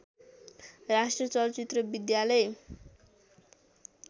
राष्ट्रिय चलचित्र विद्यालय